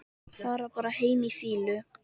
Fara bara heim í fýlu?